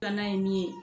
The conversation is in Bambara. Filanan ye min ye